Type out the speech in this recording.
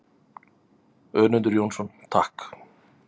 Önundur Jónsson: Takk.